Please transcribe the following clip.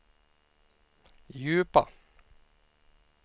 djupa